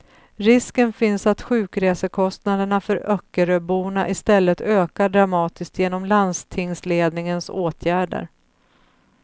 Risken finns att sjukresekostnaderna för öckeröborna i stället ökar dramatiskt genom landstingsledningens åtgärder.